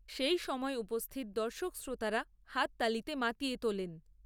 সেই সময় উপস্থিত দর্শক শ্রোতারা হাততালিতে মাতিয়ে তোলেন।